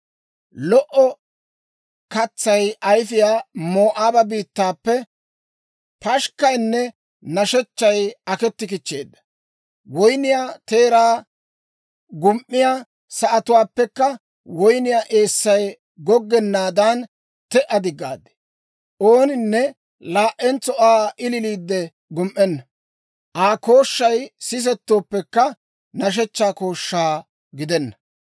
Lo"o katsay ayifiyaa Moo'aaba biittaappe pashikkaynne nashechchay aketti kichcheedda. Woynniyaa teeraa gum"iyaa sa'atuwaappekka woyniyaa eessay goggennaadan te"a diggaad. Ooninne laa"entso Aa ililiiddi gum"enna. Asaa kooshshay sisettooppekka, nashshechchaa kooshsha gidenna.